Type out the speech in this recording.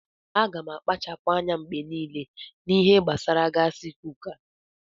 Aga m na-akpachapụ anya mgbe niile n'ihe gbasara gaasi kuka.